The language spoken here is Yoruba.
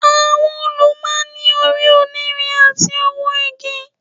Àwọn òòlù máa ń ní orí onírin àti ọwọ́ igi